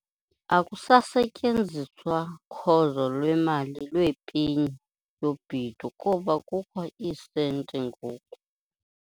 Akusasetyenziswa khozo lwemali lwepeni yobhedu kuba kukho iisenti ngoku.